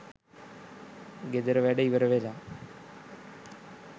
ගෙදර වැඩ ඉවර වෙලා